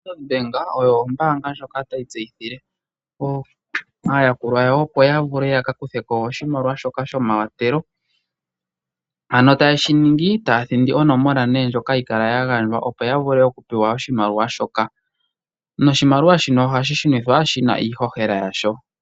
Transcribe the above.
OStandard-Bank oyo ombaanga ndjoka tayi tseyithile aayakulwa yawo opo ya vule ya ka kuthepo oshimaliwa shoka shomawathelo, ano taye shi ningi taya thindi onomola ndjoka hayi kala ya gandjwa opo ya pewe oshimaliwa shoka, noshimaliwa shino oha shi shunithwa shi na iishoshela yasho.